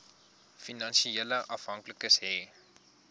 finansiële afhanklikes hê